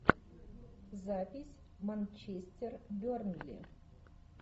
запись манчестер бернли